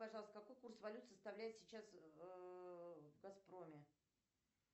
пожалуйста какой курс валют составляет сейчас в газпроме